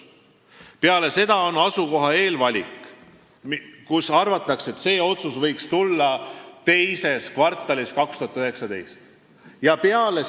Peale seda toimub asukoha eelvalik, arvatakse, et see otsus võiks tulla 2019. aasta teises kvartalis.